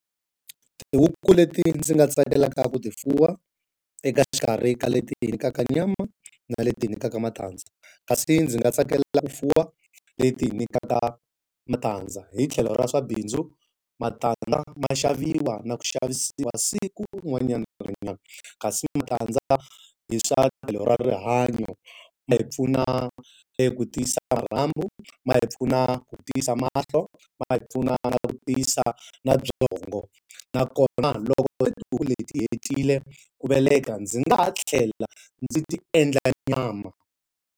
Tihuku leti ndzi nga tsakelaka ku ti fuwa eka xikarhi ka leti hi nyikaka nyama na leti hi nyikaka matandza. Kasi ndzi nga tsakela ku fuwa leti ti hi nyikaka matandza. Hi tlhelo ra swa bindzu matandza ma xaviwa na ku xavisiwa siku rin'wanyana na rin'wanyana. Kasi matandza hi swa tlhelo ra rihanyo, ma hi pfuna eku tiyisa marhambu, ma hi pfuna ku tiyisa mahlo, ma nga hi pfuna na ku tiyisa na byongo. Nakona loko hi tihuku leti ti hetile ku veleka, ndzi nga ha tlhela ndzi ti endla nyama.